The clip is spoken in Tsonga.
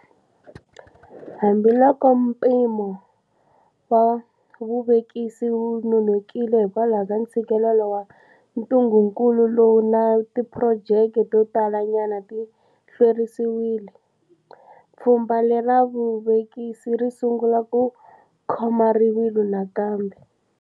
Hambiloko mpimo wa vuvekisi wu nonokile hikwalaho ka ntshikelelo wa ntungukulu lowu, na tiphurojeke to tala nyana ti hlwerisiwile, pfhu mba lera vuvekisi ri sungula ku khoma rivilo nakambe.